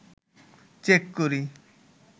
check করি